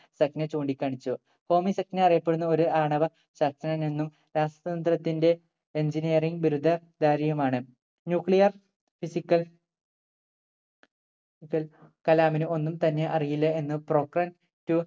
സഥ്നെ ചൂണ്ടിക്കാണിച്ചു ഹോമി സഥ്നെ അറിയപ്പെടുന്ന ഒരു ആണവ ശാസ്ത്രജ്ഞനെന്നും ശാസ്ത്ര തത്തിന്റെ Engineering ബിരുദ ധാരിയുമാണ് nuclear physical കൽ കലാമിന് ഒന്നും തന്നെ അറിയില്ല എന്ന് Pokhran two